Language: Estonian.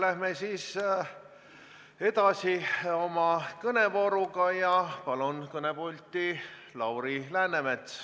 Läheme siis edasi oma kõnevooruga ja palun kõnepulti Lauri Läänemetsa.